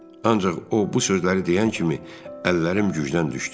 Ancaq o bu sözləri deyən kimi əllərim gücdən düşdü.